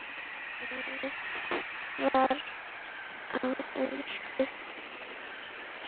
Sungið var á ensku.